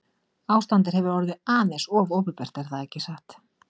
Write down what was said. Ástandið hefur orðið aðeins of opinbert ekki satt?